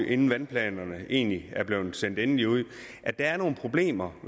inden vandplanerne egentlig blev sendt endeligt ud var nogle problemer